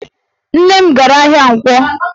Nne m gara ahịa Nkwọ